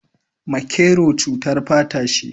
Makero cutar fata ce